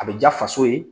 A bɛ ja faso ye